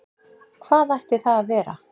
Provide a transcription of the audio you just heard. Hvað ætti það að vera?